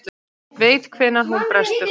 Veit hvenær hún brestur.